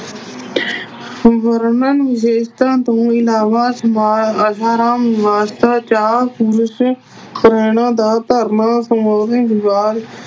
ਹੋਰਨਾ ਵਿਸ਼ੇਸ਼ਤਾਵਾਂ ਤੋਂ ਇਲਾਵਾ ਦਾ ਧਰਮਾਂ